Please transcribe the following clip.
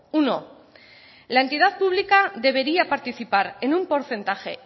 uno la entidad pública debería participar en un porcentaje